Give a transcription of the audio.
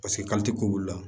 ko b'olu la